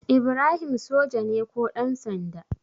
Ibrahim soja ne ko ɗansanda?